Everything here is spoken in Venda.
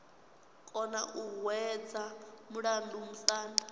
kona u hwedza mulandu musanda